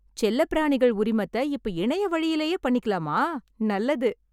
செல்லப் பிராணிகள் உரிமத்த இப்ப இணையவழிலேயே பண்ணிக்கலாமா, நல்லது.